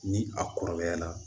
Ni a kɔrɔbaya la